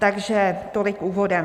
Takže tolik úvodem.